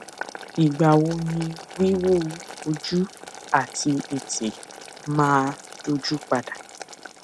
ìgbà wo ni wiwu ojú àti ètè máa dójú pa dà